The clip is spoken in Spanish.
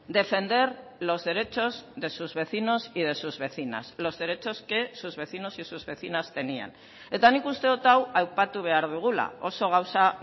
defender los derechos de sus vecinos y de sus vecinas los derechos que sus vecinos y sus vecinas tenían eta nik uste dut hau aipatu behar dugula oso gauza